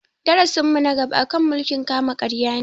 Darasin mu na gaba a kan mulkin kama karya ne